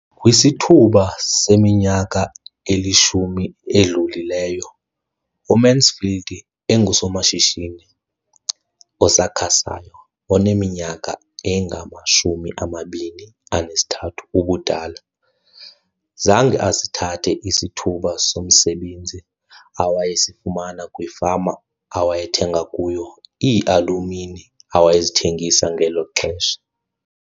Kwisithuba seminyaka elishumi edlulileyo, uMansfield engusomashishini osakhasayo oneminyaka engama-23 ubudala, zange asithathe isithuba somsebenzi awayesifumana kwifama awayethenga kuyo iialumini awayezithengisa ngelo xesha.